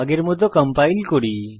আগের মত কম্পাইল করি